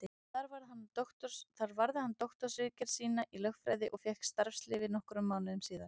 Þar varði hann doktorsritgerð sína í lögfræði og fékk starfsleyfi nokkrum mánuðum síðar.